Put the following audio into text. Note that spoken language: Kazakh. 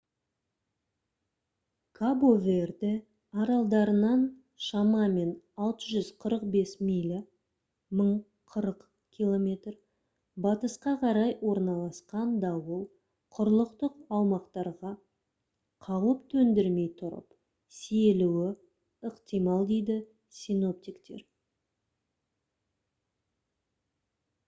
кабо-верде аралдарынан шамамен 645 миля 1040 км батысқа қарай орналасқан дауыл құрлықтық аумақтарға қауіп төндірмей тұрып сейілуі ықтимал дейді синоптиктер